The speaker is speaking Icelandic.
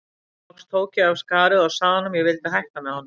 Loks tók ég af skarið og sagði honum að ég vildi hætta með honum.